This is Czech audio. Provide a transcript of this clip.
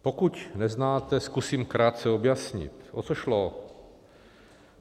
Pokud neznáte, zkusím krátce objasnit, o co šlo.